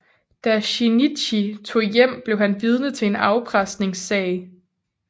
Da Shinichi tog hjem blev han vidne til en afpresningssag